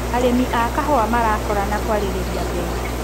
Arĩmĩ a kahũa marakorana kwarĩrĩria mbei.